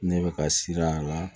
Ne bɛ ka siran a la